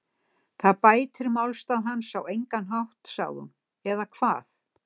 Það bætir málstað hans á engan hátt sagði hún, eða hvað?